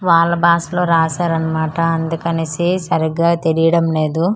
వాళ్ళ బాసలో రసారన్న మాట అందుకనేసి సరిగా తెలీడంలేదు ఆ.